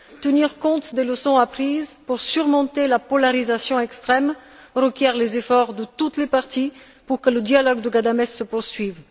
Tenir compte des leçons apprises pour surmonter la polarisation extrême requiert les efforts de toutes les parties pour que le dialogue de Ghadamès se poursuive.